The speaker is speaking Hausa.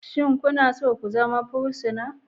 Shin kuna so ku zama fursuna?